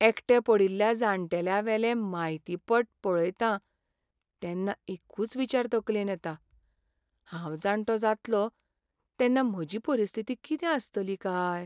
एकटे पडिल्ल्या जाण्टेल्यांवेले म्हायतीपट पळयतां, तेन्ना एकूच विचार तकलेंत येता, हांव जाण्टो जातलों तेन्ना म्हजी परिस्थिती कितें आसतली काय?